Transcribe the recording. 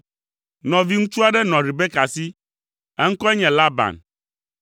Nɔviŋutsu aɖe nɔ Rebeka si. Eŋkɔe nye Laban.